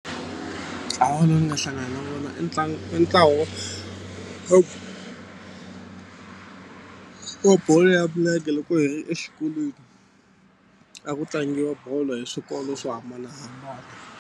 Ntlawa lowu ni nga hlangana na vona i wa ntlawa wa bolo ya milenge loko hi ri exikolweni a ku tlangiwa bolo hi swikolo swo hambanahambana.